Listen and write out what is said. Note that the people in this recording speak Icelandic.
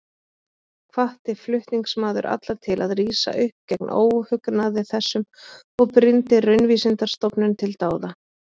Hvatti flutningsmaður alla til að rísa upp gegn óhugnaði þessum og brýndi Raunvísindastofnun til dáða.